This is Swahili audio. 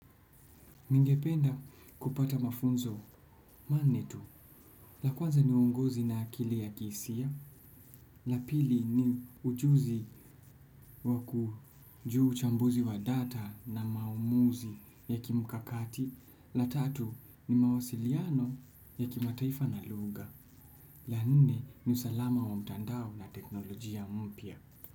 Ningependa kupata mafunzo manne tu, la kwanza ni uongozi na akili ya kihisia, la pili ni ujuzi wa kujua uchambuzi wa data na maumuzi ya kimkakati, la tatu ni mawasiliano ya kimataifa na lugha, la nne ni usalama wa mtandao na teknolojia mpya.